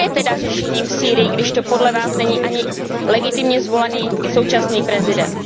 Kdo je tedy řešením v Sýrii, když to podle vás není ani legitimně zvolený současný prezident?